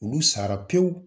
Olu sara pewu